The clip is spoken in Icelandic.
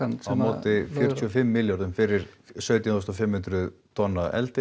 á móti fjörutíu og fimm milljörðum fyrir sautján þúsund og fimm hundruð tonn af eldi